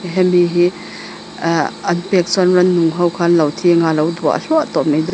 hemi hi aaa an pek chuan rannung ho kha anlo thi anga alo duah hluah tawh mai dawn--